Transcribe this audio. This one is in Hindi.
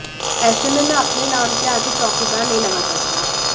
ऐसे में मैं अपने नाम के आगे चौकीदार नहीं लगा सकता